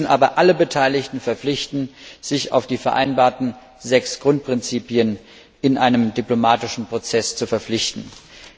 Wir müssen aber alle Beteiligten verpflichten, die vereinbarten sechs Grundprinzipien in einem diplomatischen Prozess zu wahren.